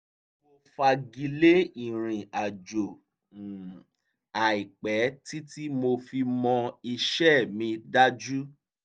mo fagilé ìrìnàjò um àìpẹ̀ títí mo fi mọ iṣẹ́ mi dájú